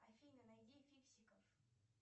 афина найди фиксиков